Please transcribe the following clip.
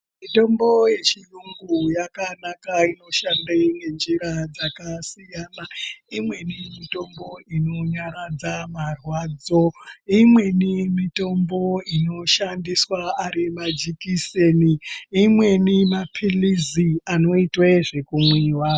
Mitombo yechiyungu yakanaka inoshanda ngenjira dzakasiyana imweni mitombo inonyaradza marwadzo imweni mitombo inoshandiswa ari majekiseni imweni mapilizi anoitwa zvekumwiwa.